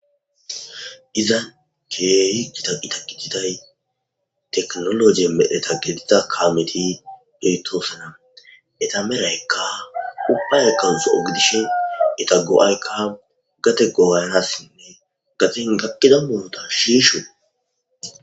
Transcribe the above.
Izan keehi kita ita gitiday teknologe medheta gediza kaameti beytoosana eta meraykka ubbaykka zo'ogidishin ita go'aykka gate gogayanassinne gatin gakkida muota shiishi.